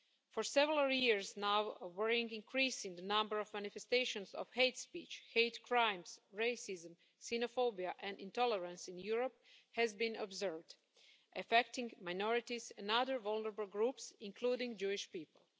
For several years now, a worrying increase in the number of manifestations of hate speech, hate crimes, racism, xenophobia and intolerance in Europe has been observed, affecting minorities and other vulnerable groups, including Jewish people.